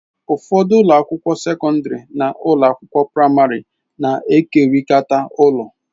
Ụfọdụ ụlọ akwụkwọ sekọndrị na ụlọ akwụkwọ praịmarị na-ekerịta ụlọ.